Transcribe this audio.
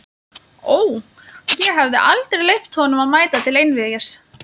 Ó, ég hefði aldrei leyft honum að mæta til einvígis!